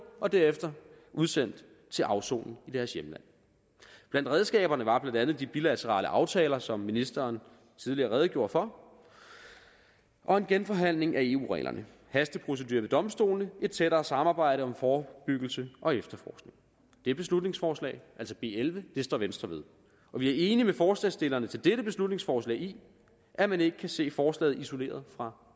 og derefter udsendt til afsoning i deres hjemland blandt redskaberne var blandt andet de bilaterale aftaler som ministeren tidligere redegjorde for og en genforhandling af eu reglerne hasteprocedurer ved domstolene og et tættere samarbejde om forebyggelse og efterforskning det beslutningsforslag altså b elleve står venstre ved og vi er enige med forslagsstillerne til dette beslutningsforslag i at man ikke kan se forslaget isoleret fra